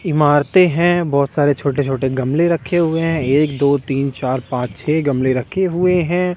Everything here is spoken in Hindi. इमारतें हैं बहुत सारे छोटे-छोटे गमले रखे हुए हैं एक दो तीन चार पाच छह गमले रखे हुए हैं।